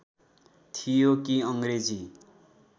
थियो कि अङ्ग्रेजी